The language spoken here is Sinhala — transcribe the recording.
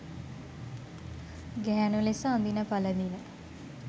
ගැහැණු ලෙස අඳින පළඳින